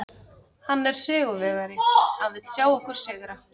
Hann er sigurvegari, hann vill sjá okkur sigra.